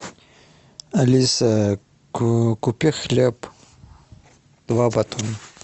алиса купи хлеб два батона